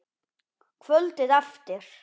Kvöldið eftir.